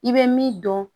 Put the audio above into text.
I bɛ min dɔn